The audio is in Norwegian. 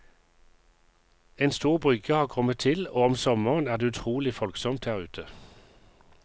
En stor brygge har kommet til og om sommeren er det utrolig folksomt her ute.